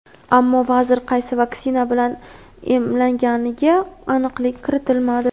Ammo vazir qaysi vaksina bilan emlanganiga aniqlik kiritilmadi.